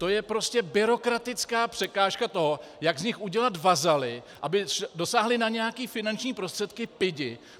To je prostě byrokratická překážka toho, jak z nich udělat vazaly, aby dosáhli na nějaké finanční prostředky pidi.